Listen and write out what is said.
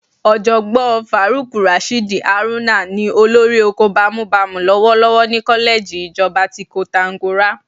Ọ̀jọ̀gbọ́n Faruk Rashid Haruna ni olórí oko bámúbamù lọ́wọ́lọ́wọ́ ní kọ́lẹ́ẹ̀jì ìjọba ti Koǹtàgora